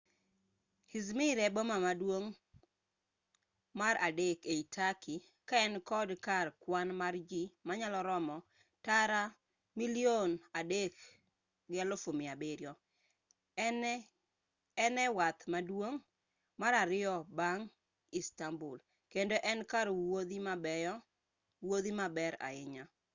i̇zmir e boma maduong' mar adek ei turkey ka en kod kar kwan mar ji manyalo romo tara 3.7 en e wath maduong' mar ariyo bang' istanbul kendo en kar wuodhi maber ahinya